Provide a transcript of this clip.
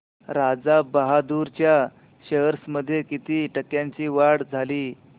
राजा बहादूर च्या शेअर्स मध्ये किती टक्क्यांची वाढ झाली